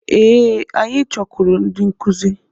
Ee, anyị chọkwuru ndị nkuzi.